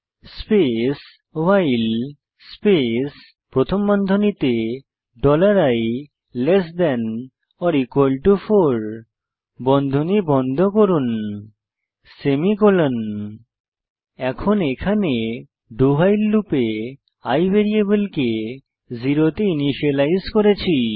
space while space প্রথম বন্ধনীতে dollar i less than or equal to 4 বন্ধনী বন্ধ করুন সেমিকোলন এখন এখানে do ভাইল লুপে i ভ্যারিয়েবলকে 0 তে ইনিসিয়েলাইজ করেছি